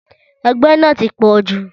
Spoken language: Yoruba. Ẹgbẹ́ náà ti pọ̀ jù.